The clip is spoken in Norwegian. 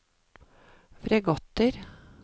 fregatter